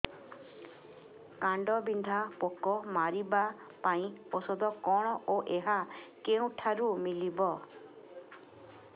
କାଣ୍ଡବିନ୍ଧା ପୋକ ମାରିବା ପାଇଁ ଔଷଧ କଣ ଓ ଏହା କେଉଁଠାରୁ ମିଳିବ